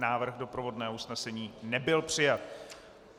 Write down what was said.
Návrh doprovodného usnesení nebyl přijat.